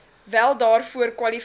wel daarvoor kwalifiseer